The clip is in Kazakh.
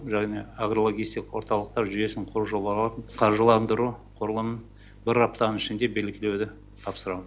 және агрологистикалық орталықтар жүйесін құру жобаларын қаржыландыру құрылымын бір аптаның ішінде белгілеуді тапсырамын